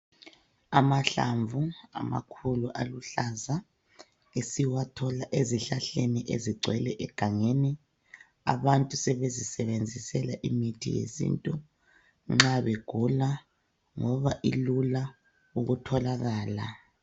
Amahlamvu amakhulu aluhlaza esiwathola ezihlahlani ezigcwele egangeni. Abantu sebezisebenzisela imithi yesintu nxa begula ngoba ilula ukutholakala.